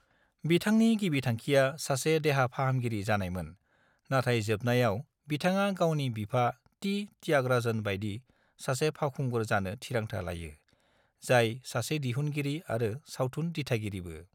बिथांनि गिबि थांखिया सासे देहा फाहामगिरि जानायमोन, नाथाय जोबनायाव बिथाङा गावनि बिफा टी. त्यागराजन बायदि सासे फावखुंगुर जानो थिरांथा लायो, जाय सासे दिहुनगिरि आरो सावथुन दिथागिरिबो।